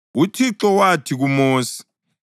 UThixo wathi kuMosi,